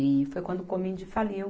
E foi quando o Comind faliu.